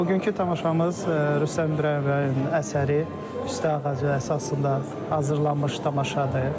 Bugünkü tamaşamız Rüstəm İbrahimbəyovun əsəri, Püstə Ağacı əsasında hazırlanmış tamaşadır.